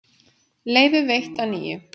Leyfi veitt að nýju